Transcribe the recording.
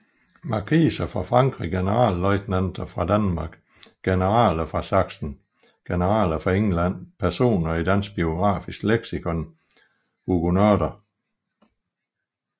Markiser fra Frankrig Generalløjtnanter fra Danmark Generaler fra Sachsen Generaler fra England Personer i Dansk Biografisk Leksikon Huguenotter